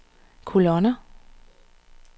kolonner